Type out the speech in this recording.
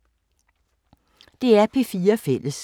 DR P4 Fælles